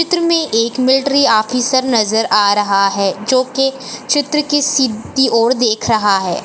चित्र में एक मिलट्री ऑफिसर नजर अा रहा है जो कि चित्र की सीधी ओर देख रहा है।